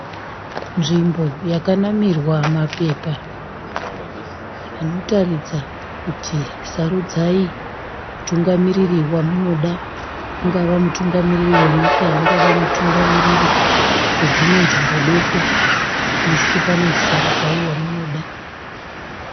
Nzvimbo yakanamirwa mapepa anotaridza kuti sarudzai mutungamiri wamunoda ungava mutungamiriri wenyika ungava mutungamiriri wedzimwe nzvimbo doko asi panonzi sarudzai wamunoda.